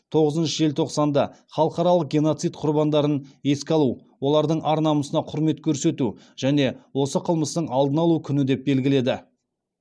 тоғызыншы желтоқсанды халықаралық геноцид құрбандарын еске алу олардың ар намысына құрмет көрсету және осы қылмыстың алдын алу күні деп белгіледі